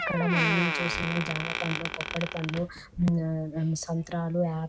ఇక్కడ మనం చూస్తూ ఉన్నది జామ పండ్లు పొప్పడి పండ్లు సంత్రాలు ఆ --